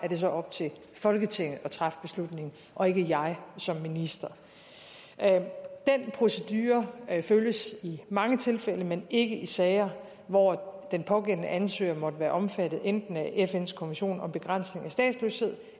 det så op til folketinget at træffe beslutningen og ikke jeg som minister den procedure følges i mange tilfælde men ikke i sager hvor den pågældende ansøger måtte være omfattet af enten fns konvention om begrænsning af statsløshed